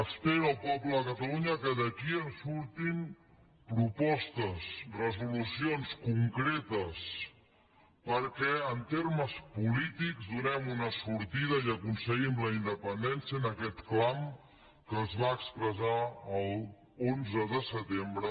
espera el poble de catalunya que d’aquí en surtin propostes resolucions concretes perquè en termes polítics donem una sortida i aconseguim la independència a aquest clam que més de dos milions de persones van expressar l’onze de setembre